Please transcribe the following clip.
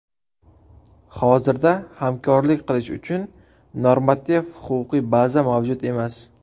Hozirda hamkorlik qilish uchun normativ-huquqiy baza mavjud emas.